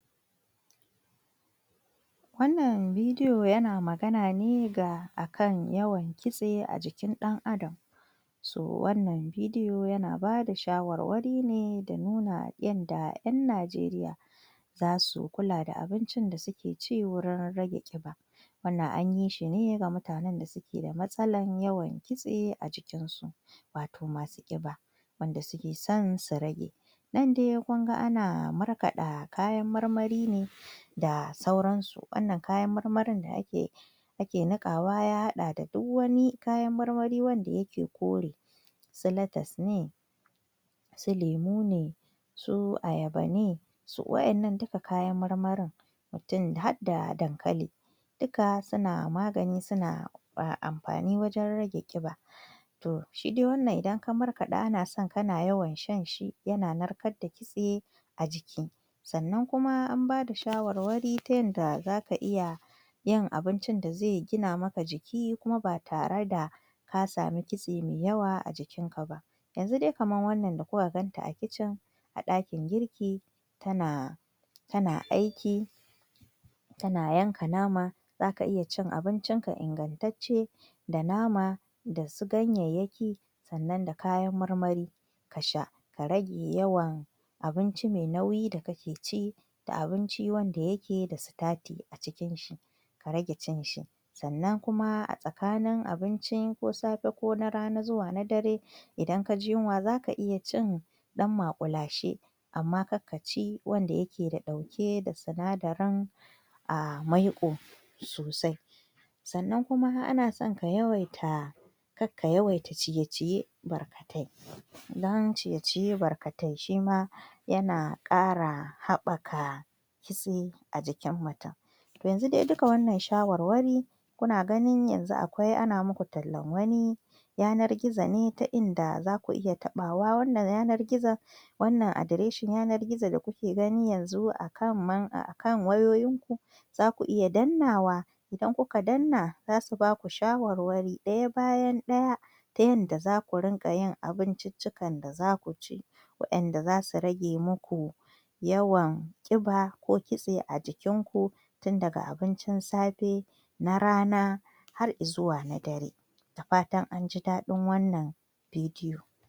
Shingaye na al'ada ga zamantakewa shingaye na al'ada shingaye na al'ada wani abu ne wanda ya ya aya samo asali da kuma tsari tsaron hukunci da al'adun al'umma ma'ana amfani da hanyoyi kamar uwa u ana son uwa ta sami in ta haihu ta ta ta sa ma ta sama abin nan ɗinta tsari in ta haihu tasa mu tasamu hutawa hutawa abinda ake nufi tsakani in ta samu ciki ciki mahaifanta ya huta kuma jininta ya dawo a yaron ya samu aa samu tarbiyya yanayin da za a tarbiyyantar da yaron in ta huta yaron zai zama yana da yaron ya zama yana da lafiya uwar mahaifarta ya huta a a jinita ya dawo mahaifa ya huta jijin jikinta ya dawo a samu tarbiyyantar da yaron abinda ya kamata ana son tsarin iyali dan mahaifa ta samu hutawa jinin jikin ya dawo yaro ya samu ingantaccen ilimi ku za ya sami ingantaccen kuzari kuma tsakanin wannan haihuwan da wannan haihuwan akanso wannan tazaran a samu kamar koda shekara ɗaya ko biyu a samau kamar shekara uku in aka samu wannan ana saran in Allah ya yarda wannan tazara ya kuma a addimni na son al'ada